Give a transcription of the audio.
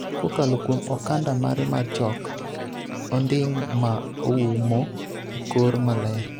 kokalo kuom okanda mare mar chok onding' ma oumo e kor maler,